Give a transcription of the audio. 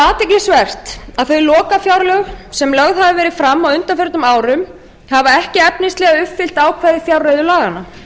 athyglisvert að þau lokafjárlög sem lögð hafa verið fram á undanförnum árum hafa ekki efnislega uppfyllt ákvæði fjárreiðulaganna